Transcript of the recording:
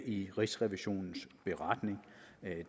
i rigsrevisionens beretning